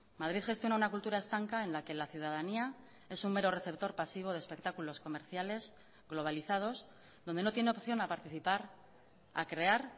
madrid gestiona una cultura estanca en la que la ciudadanía es un mero receptor pasivo de espectáculos comerciales globalizados donde no tiene opción a participar a crear